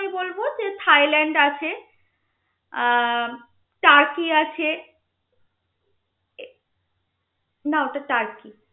Thailand আছে ah Turkey আছে ah না ওটা তার্কি